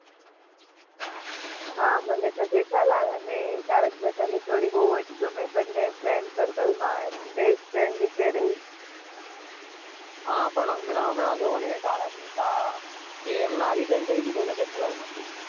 હા, મને તો જેઠાલાલ અને તારક મહેતાની જોડી બવ જ ગમે.